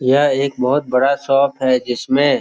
यह एक बहुत बड़ा शॉप है जिसमें --